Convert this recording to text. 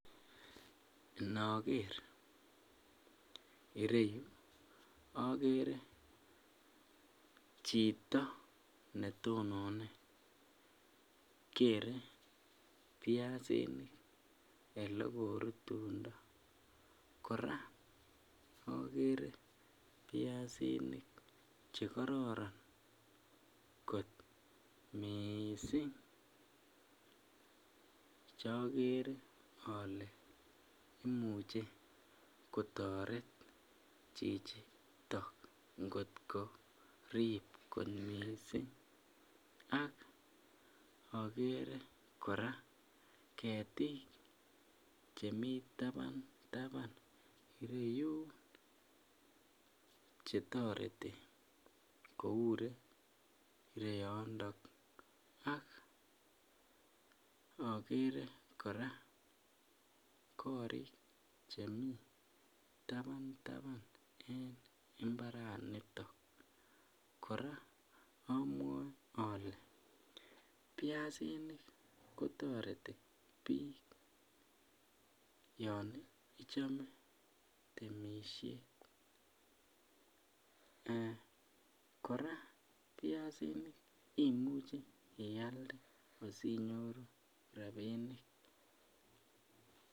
Inoker ireyu akere chito netonone kere biasinik olekorutundoo, kora akere chekororon kot miissing cheakere ale imuche kotoret cvhchitok ngot korip kot missing .Ak akere kora ketik chemii taban taban ireyun chetoreti koure ireyondon ak akere kora korik chemii taban taban en mbaranitok kora amwae ale biasinik kotoreti biik yon ichome temisiet ,eeh kora biasinik imuche ialde asinyoru rapinik.